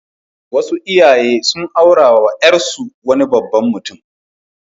Wasu iyaye sun aurawa ƴarsu wani babban mutum.